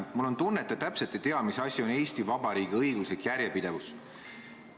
Mul on tunne, et te täpselt ei tea, mis asi on Eesti Vabariigi õiguslik järjepidevus.